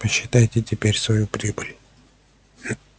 посчитайте теперь свою прибыль